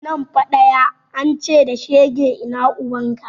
Nan fa ɗaya, an ce da shege ina ubanka?